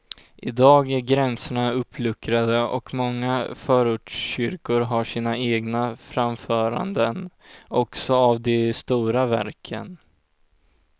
Idag är gränserna uppluckrade och många förortskyrkor har sina egna framföranden också av de stora verken.